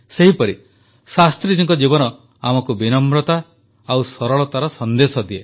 ସେହିପରି ଶାସ୍ତ୍ରୀଜୀଙ୍କ ଜୀବନ ଆମକୁ ବିନମ୍ରତା ଓ ସରଳତାର ସନ୍ଦେଶ ଦିଏ